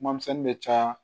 Kuma misɛnnin bɛ caya